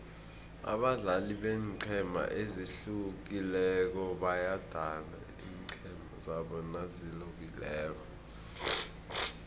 abadlali beenqhema ezihlukileko bayadana iinqhema zabo nazilobako